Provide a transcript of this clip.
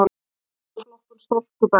Tafla um flokkun storkubergs